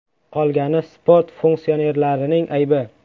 Qolgani sport funksionerlarining aybi.